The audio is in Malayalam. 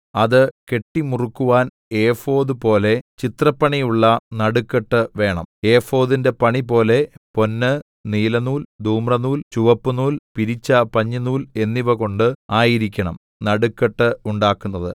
അത് കെട്ടിമുറുക്കുവാൻ ഏഫോദ് പോലെ ചിത്രപ്പണിയുള്ള നടുക്കെട്ട് വേണം ഏഫോദിന്റെ പണിപോലെ പൊന്ന് നീലനൂൽ ധൂമ്രനൂൽ ചുവപ്പുനൂൽ പിരിച്ച പഞ്ഞിനൂൽ എന്നിവകൊണ്ട് ആയിരിക്കണം നടുക്കെട്ട് ഉണ്ടാക്കുന്നത്